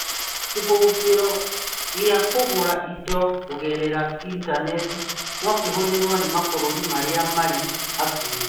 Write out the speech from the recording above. Kĩhũngĩro kĩa kũgũra indo kũgerera Intaneti no kĩhũthĩrwo nĩ mabũrũri marĩa marĩ hakuhĩ